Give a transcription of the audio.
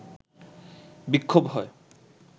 বিক্ষোভ হয়